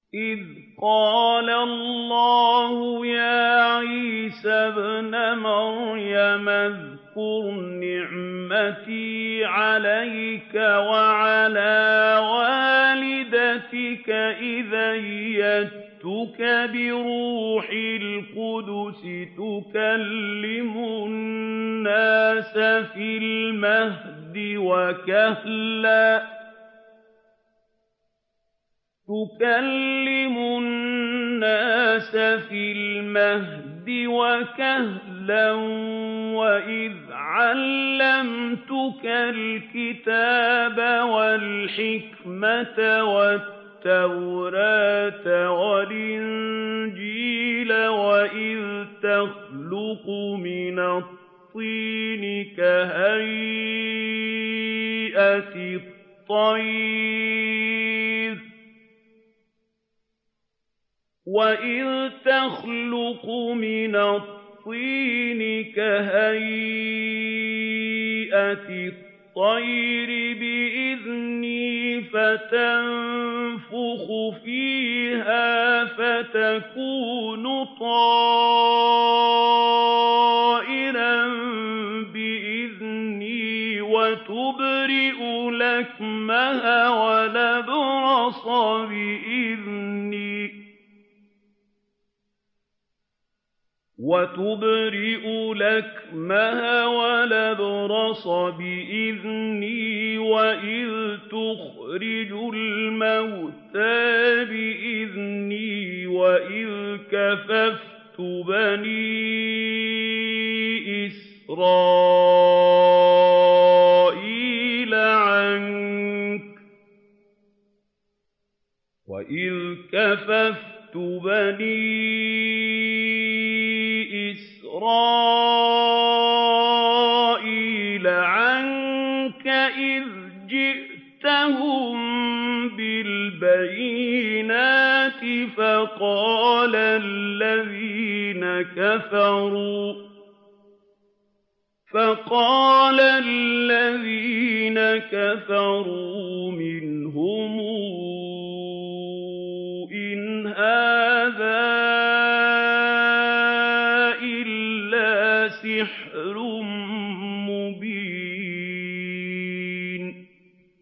إِذْ قَالَ اللَّهُ يَا عِيسَى ابْنَ مَرْيَمَ اذْكُرْ نِعْمَتِي عَلَيْكَ وَعَلَىٰ وَالِدَتِكَ إِذْ أَيَّدتُّكَ بِرُوحِ الْقُدُسِ تُكَلِّمُ النَّاسَ فِي الْمَهْدِ وَكَهْلًا ۖ وَإِذْ عَلَّمْتُكَ الْكِتَابَ وَالْحِكْمَةَ وَالتَّوْرَاةَ وَالْإِنجِيلَ ۖ وَإِذْ تَخْلُقُ مِنَ الطِّينِ كَهَيْئَةِ الطَّيْرِ بِإِذْنِي فَتَنفُخُ فِيهَا فَتَكُونُ طَيْرًا بِإِذْنِي ۖ وَتُبْرِئُ الْأَكْمَهَ وَالْأَبْرَصَ بِإِذْنِي ۖ وَإِذْ تُخْرِجُ الْمَوْتَىٰ بِإِذْنِي ۖ وَإِذْ كَفَفْتُ بَنِي إِسْرَائِيلَ عَنكَ إِذْ جِئْتَهُم بِالْبَيِّنَاتِ فَقَالَ الَّذِينَ كَفَرُوا مِنْهُمْ إِنْ هَٰذَا إِلَّا سِحْرٌ مُّبِينٌ